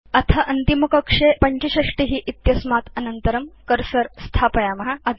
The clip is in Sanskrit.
अथ अन्तिमकक्षे 65 इत्यस्मात् अनन्तरं कर्सर स्थापयाम